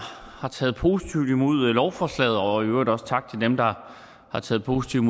har taget positivt imod lovforslaget og i øvrigt også tak til dem der har taget positivt